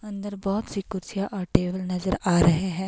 अंदर बहोत सी कुर्सियां और टेबल नजर आ रहे हैं।